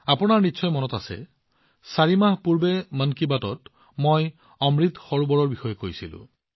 আপোনালোকৰ মনত থাকিব পাৰে মন কী বাতত চাৰি মাহ পূৰ্বে মই অমৃত সৰোবৰৰ বিষয়ে কথা পাতিছিলো